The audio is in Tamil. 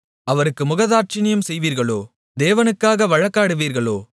அவருக்கு முகதாட்சிணியம் செய்வீர்களோ தேவனுக்காக வழக்காடுவீர்களோ